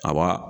A ba